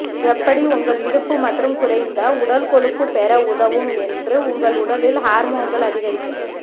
எப்படி உங்கள் இடுப்பு மற்றும் குறைந்த உடல் கொழுப்பு பெற உதவும் என்று உங்கள் உடலில் ஹார்மோன்கள் அதிகரிக்க